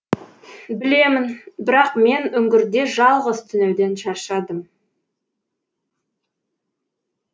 білемін бірақ мен үңгірде жалғыз түнеуден шаршадым